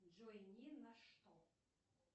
джой ни на что